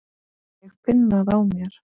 Ég finn það á mér.